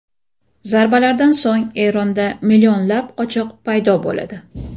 Zarbalardan so‘ng Eronda millionlab qochoq paydo bo‘ladi.